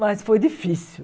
Mas foi difícil.